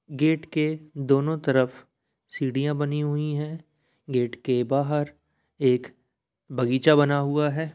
Gate के दोनों तरफ सीढ़ियाँ बनी हुई हैं। गेट के बाहर एक बगीचा बना हुआ है।